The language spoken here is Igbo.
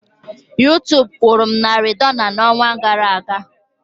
YouTube kwụrụ m narị dọla n'ọnwa gara aga.